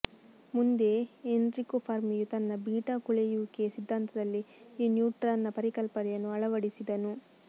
ಮುಂದೆ ಎನ್ರಿಕೊ ಫರ್ಮಿಯು ತನ್ನ ಬೀಟಾ ಕೊಳೆಯುವಿಕೆ ಸಿದ್ಧಾಂತದಲ್ಲಿ ಈ ನ್ಯೂಟ್ರಾನ್ನ ಪರಿಕಲ್ಪನೆಯನ್ನು ಅಳವಡಿಸಿದನು